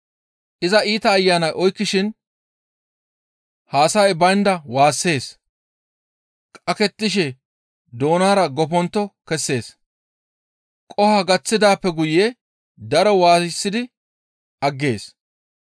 Iza iita ayanay oykkishin hassa7ay baynda waassees; qakettishe doonara goppontto kessees; qoho gaththidaappe guye daro waayisidi aggees.